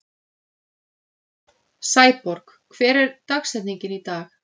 Sæborg, hver er dagsetningin í dag?